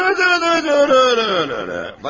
Öyrədim, öyrədim, öyrədim, öyrədim.